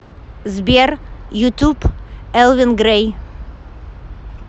сбер ютуб элвин грей